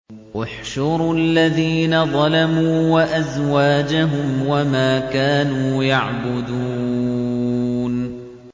۞ احْشُرُوا الَّذِينَ ظَلَمُوا وَأَزْوَاجَهُمْ وَمَا كَانُوا يَعْبُدُونَ